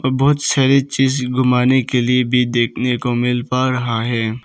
बहुत सारे चीज घुमाने के लिए भी देखने को मिल पा रहा है।